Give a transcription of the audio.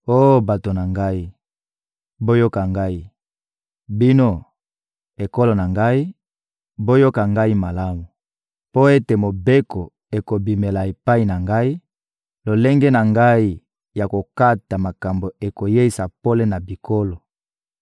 Oh bato na ngai, boyoka ngai! Bino, ekolo na ngai, boyoka ngai malamu: Mpo ete Mobeko ekobimela epai na ngai, lolenge na ngai ya kokata makambo ekoyeisa pole na bikolo.